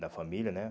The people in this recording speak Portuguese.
Da família, né?